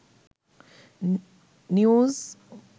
news